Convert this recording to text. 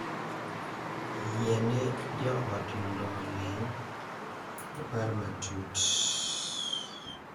Yiene jo ot mondo oling’, opar matut,